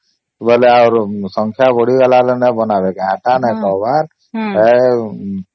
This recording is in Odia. ବୋଲେ ଆର ସଂଖ୍ୟା ବଢ଼ିଗଲାଣି ନାଇ ବନାଵ କା ଏଟା ନାଇ କହିବାର